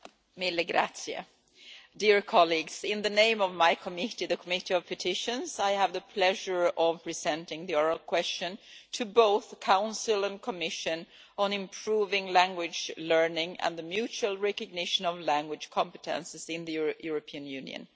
Mr President, in the name of my committee, the Committee on Petitions, I have the pleasure of presenting the oral question to both the Council and the Commission on improving language learning and the mutual recognition of language competences in the European Union.